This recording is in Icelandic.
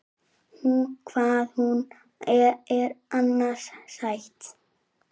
Hvað hún er annars sæt!